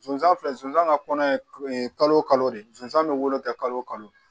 Sonsan filɛ sonsan ka kɔnɔ ye kalo o kalo de sonsan bɛ wolo kɛ kalo kalo